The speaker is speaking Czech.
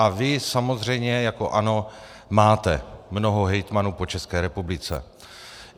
A vy samozřejmě jako ANO máte mnoho hejtmanů po České republice.